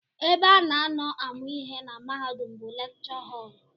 Ebe a na-anọ amụ ihe na mahadum bụ lekchọ họl